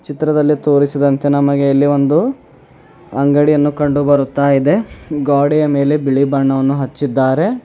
ಚಿತ್ರದಲ್ಲಿ ತೋರಿಸಿದಂತೆ ನಮಗೆ ಇಲ್ಲಿ ಒಂದು ಅಂಗಡಿಯನ್ನು ಕಂಡುಬರುತ್ತಾಯಿದೆ ಗ್ವಾಡೆಯ ಮೇಲೆ ಬಿಳಿ ಬಣ್ಣವನ್ನು ಹಚ್ಚಿದ್ದಾರೆ.